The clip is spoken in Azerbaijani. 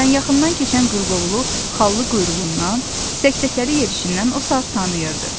Məsələn, yaxından keçən qırqovulu xallı quyruğundan, sək-səkəli yerişindən o saat tanıyırdı.